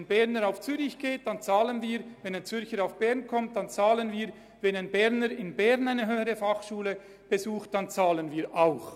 Mit der dadurch entstandenen Freizügigkeit haben wir die höhere Berufsbildung gestärkt.